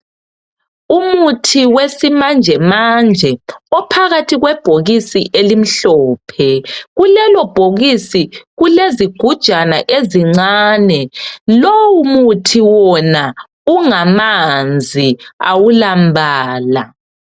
Umuthi wesimanjemanje ophakathi kwebhokisi elimhlophe kukelo bhokisi kulezigujana ezincane lowu muthi wona ungamanzi awula mbala.